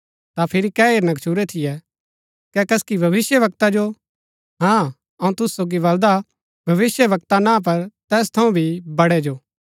ता फिरी कै हेरना गच्छुरै थियै कै कसकि भविष्‍यवक्ता जो हाँ अऊँ तुसु सोगी बलदा भविष्‍यवक्ता ना पर तैस थऊँ भी बड़ै जो